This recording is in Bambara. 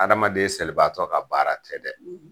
Adamaden selibaatɔ ka baara tɛ dɛ.